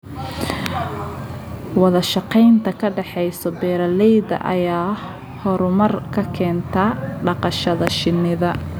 Wada shaqaynta ka dhaxaysa beeralayda ayaa horumar ka keenta dhaqashada shinida.